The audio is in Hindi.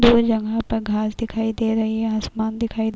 दो जगह पर घांस दिखाई दे रही है आसमान दिखाई --